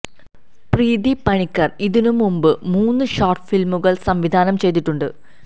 പ്രീതി പണിക്കർ ഇതിനു മുന്പ് മൂന്ന് ഷോർട്ട് ഫിലിമുകൾ സംവിധാനം ചെയ്തിട്ടുണ്ട്